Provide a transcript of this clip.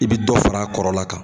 I bi dɔ far'a kɔrɔla kan.